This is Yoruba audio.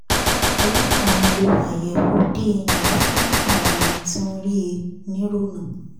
ọlọ́pàá ń lo àyẹ̀wò dna fún àwọn ọmọ tí wọ́n rí he nírọ́nà